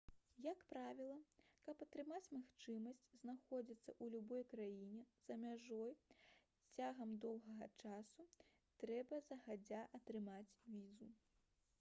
як правіла каб атрымаць магчымасць знаходзіцца ў любой краіне за мяжой цягам доўгага часу трэба загадзя атрымаць візу